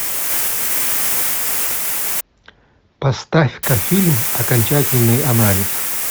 поставь ка фильм окончательный анализ